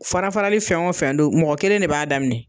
Fara farali fɛn o fɛn don mɔgɔ kelen de b'a daminɛ